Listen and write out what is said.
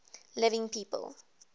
living people